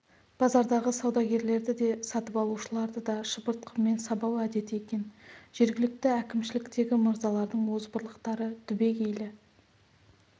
базардағы саудагерлерді де сатып алушыларды да шыбыртқымен сабау әдеті екен жергілікті әкімшіліктегі мырзалардың озбырлықтары түбегейлі